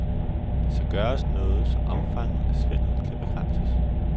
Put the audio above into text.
Der skal gøres noget, så omfanget af svindel kan begrænses.